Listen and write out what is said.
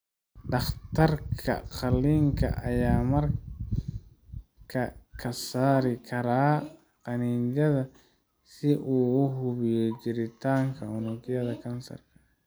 Dhakhtarka qaliinka ayaa markaa ka saari kara qanjidhada si uu u hubiyo jiritaanka unugyada kansarka.